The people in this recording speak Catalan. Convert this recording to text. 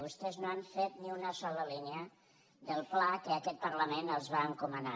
vostès no han fet ni una sola línia del pla que aquest parlament els va encomanar